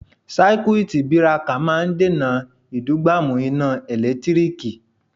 Sáíkútí birakà máa ń dènà ìdúgbàmù iná ẹ̀lẹ́tíríkì.